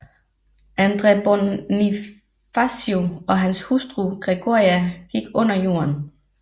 Andres Bonifacio og hans hustru Gregoria gik under jorden